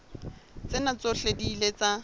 tsena tsohle di ile tsa